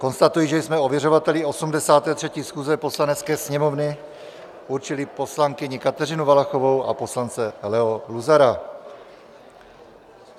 Konstatuji, že jsme ověřovateli 83. schůze Poslanecké sněmovny určili poslankyni Kateřinu Valachovou a poslance Leo Luzara.